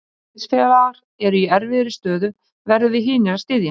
Þegar liðsfélagar eru í erfiðri stöðu, verðum við hinir að styðja hann.